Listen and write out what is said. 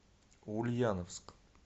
ульяновск